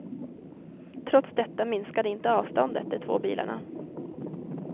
Trots detta minskade inte avståndet de två bilarna.